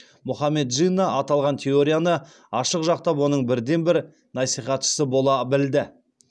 мұхаммед джинна аталған теорияны ашық жақтап оның бірден бір насихатшысы бола білді